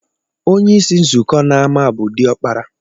Onyeisi nzụkọ n’ama bu diọkpara